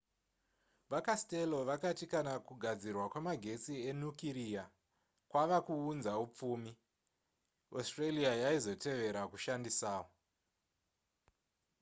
vacastello vakati kana kugadzirwa kwemagetsi enukiriya kwava kuunza hupfumi australia yaizotevera kushandisawo